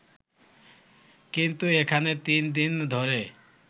কিন্তু এখানে তিন দিন ধরে